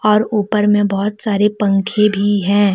और ऊपर में बहुत सारे पंखे भी है।